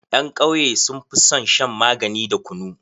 Ƴan kauye sun fi son shan magani da kunu.